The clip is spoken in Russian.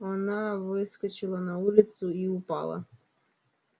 она выскочила на улицу и упала